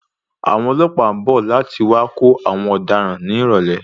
Àwọn ọlọ́pàá ń bọ̀ láti wá kó àwọn ọ̀daràn ní ìrọ̀lẹ́.